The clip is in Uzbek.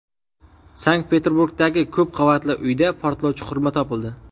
Sankt-Peterburgdagi ko‘p qavatli uyda portlovchi qurilma topildi.